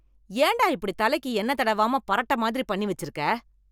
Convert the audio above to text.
ஏன்டா இப்படி தலைக்கு என்ன தடவாமல் பரட்டை மாதிரி பண்ணி வச்சிருக்கிற